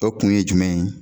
O kun ye jumɛn ye